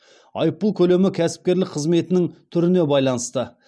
айыппұл көлемі кәсіпкерлік қызметінің түріне байланысты